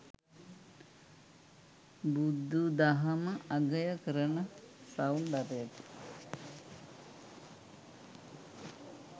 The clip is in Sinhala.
බුදුදහම අගය කරන සෞන්දර්යය